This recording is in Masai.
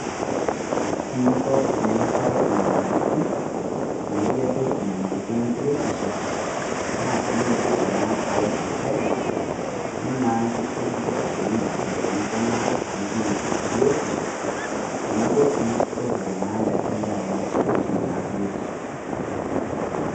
Kore ninko tiniapare inyamalitin naijo doo nyamalitin e biotisho naa tininyototo na aloo sipitali niloo na mikitiliki lkitaarini file nikunaa tinitum biotisho teneboo sii o file naa ndaaki niloo ainos piitum na biotisho.